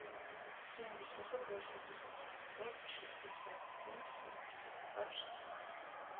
семь восемьсот восемьдесят семьсот шестьдесят семь семьдесят два шестнадцать